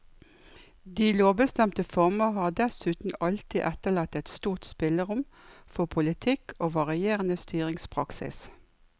De lovbestemte former har dessuten alltid etterlatt et stort spillerom for politikk og varierende styringspraksis.